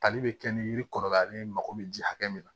Tali be kɛ ni yiri kɔrɔbaya ale mako bɛ ji hakɛ min na